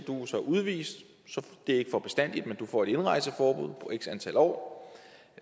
så udvist det er ikke for bestandig men du får et indrejseforbud på x antal år